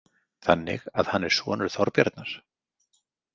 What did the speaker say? Þannig að hann er sonur Þorbjarnar?